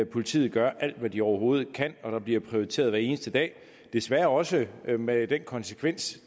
politiet gør alt hvad de overhovedet kan og der bliver prioriteret hver eneste dag desværre også med den konsekvens